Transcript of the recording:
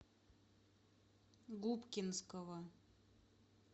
губкинского